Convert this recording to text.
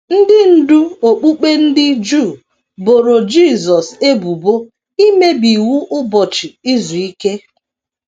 Ndị ndú okpukpe ndị Juu boro Jisọs ebubo imebi iwu Ụbọchị Izu Ike.